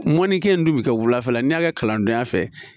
Mɔnikɛni dun bi kɛ wulafɛla n'i y'a kɛ kalandenya fɛ